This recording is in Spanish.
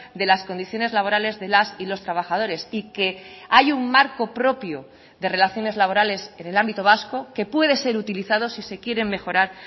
de las condiciones laborales de las y los trabajadores y que hay un marco propio de relaciones laborales en el ámbito vasco que puede ser utilizado si se quieren mejorar